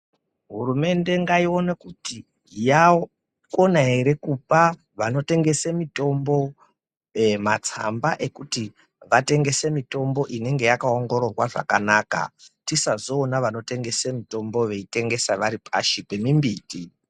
Hurumende ngaione kuti yakona ere kupa vanotengese mitombo matsamba ekuti vatengese mitombo inenge yakaongororwa zvakanaka. Tisazoona vanotengese mitombo veitengesa vari pashi pemimbiti.